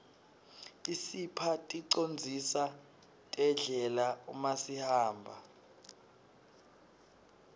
isipha ticondziso terdlela umasihamba